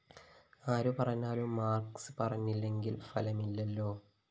ആരു പറഞ്ഞാലും മാര്‍ക്‌സ് പറഞ്ഞില്ലെങ്കില്‍ ഫലമില്ലല്ലോ